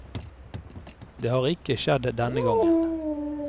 Det har ikke skjedd denne gangen.